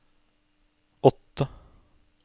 åtte